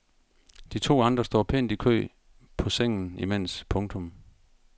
De to andre står pænt i kø på sengen imens. punktum